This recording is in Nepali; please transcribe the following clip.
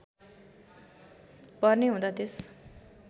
पर्ने हुँदा त्यस